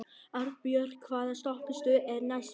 Arnbjörg, hvaða stoppistöð er næst mér?